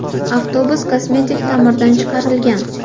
Avtobus kosmetik ta’mirdan chiqarilgan.